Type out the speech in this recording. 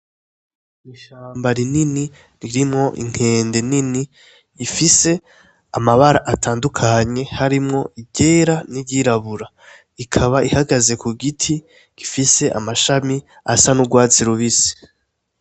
Ishamba rinini ririmwo inkende nini ifise amabara atandukanye, harimwo iryera n'iryirabura, ikaba ihagaze ku giti gifise amashami asa n'urwatsi rubisi.